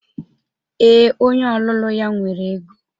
Ee, onye ọlụlụ ya nwere ego.